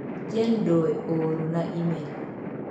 jane doe ooro na imel.